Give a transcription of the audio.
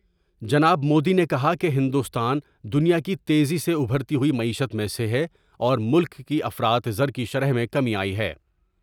جناب مودی نے کہا کہ ہندوستان دنیا کی تیزی سے ابھرتی ہوئی معیشت میں سے ہے اور ملک کی افراط زر کی شرح میں کمی آئی ہے ۔